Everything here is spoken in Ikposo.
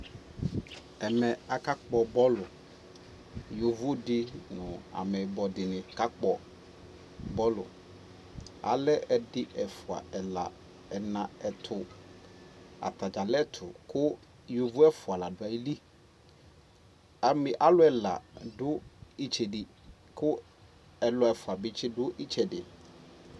ɛvɛ ɔlɛvi di asɛ kʋ ɔwʋ di kʋ wazɔnʋ motor king, alʋ alʋɛdini nʋ ɔwʋɛli, asii ɛƒʋa dini akɔ dʋkʋ atani ɛlʋɛ, ɔsii ɛdigbɔ di ama ʋvi nʋ idʋ